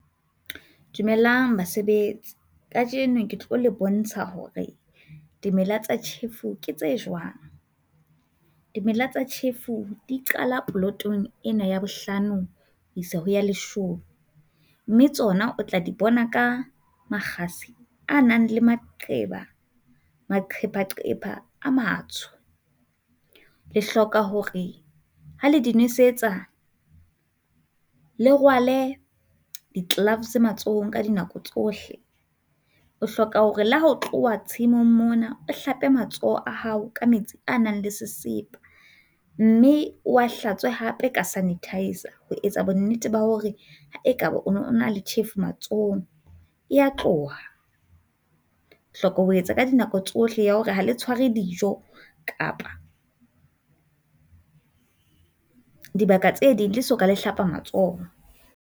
Dumelang basebetsi. Kajeno ke tlo le bontsha hore dimela tsa tjhefu ke tse jwang. Dimela tsa tjhefu di qala polotong ena ya bohlano ho isa ho ya leshome, mme tsona o tla di bona ka makgasi a nang le maqeba, maqhepaqhepa a matsho, le hloka hore ha le di nwesetsa le rwale di-gloves matsohong ka dinako tsohle. O hloka hore le ha o tloha tshimong mona o hlape matsoho a hao ka metsi a nang le sesepa mme o a hlatswe hape ka sanitiser-a. Ho etsa bonnete ba hore ha ekaba o ne o na le tjhefu matsohong e a tloha. O hloka ho etsa ka dinako tsohle ya hore ha le tshware dijo kapa dibaka tse ding le so ka le hlapa matsoho.